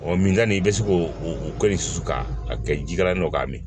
min ka na i bɛ se ko o ko in susu ka a kɛ jikalan ye k'a min